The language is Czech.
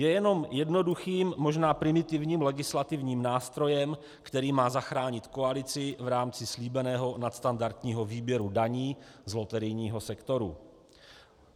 Je jen jednoduchým, možná primitivním legislativním nástrojem, který má zachránit koalici v rámci slíbeného nadstandardního výběru daní z loterijního sektoru.